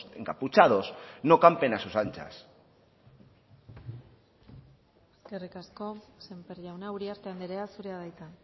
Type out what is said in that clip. encapuchados no campen a sus anchas eskerrik asko sémper jauna uriarte andrea zurea da hitza